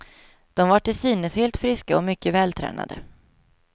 De var till synes helt friska och mycket vältränade.